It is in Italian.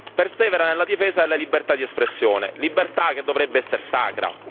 Persevera nella difesa della libertà di espressione, libertà che dovrebbe essere sacra.